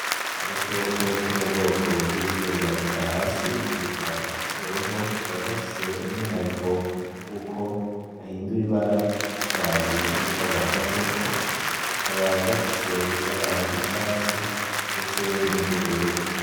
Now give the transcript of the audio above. Agakoko ko mubwoko bwibikwega inda hasi kitwa ikivorovo, kakaba gafise umwihariko yuko gahindura ibara bivanye nico gahagazeko, kakaba gafise ibara ry'icatsi ndetse niryubururu.